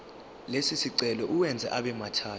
lesicelo uwenze abemathathu